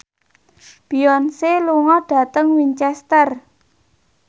Beyonce lunga dhateng Winchester